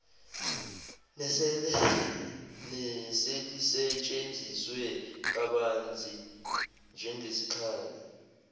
neselisetshenziswe kabanzi njengesikhali